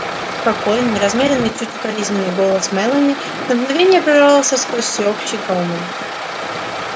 спокойный размеренный чуть укоризненный голос мелани на мгновение прорвался сквозь всеобщий гомон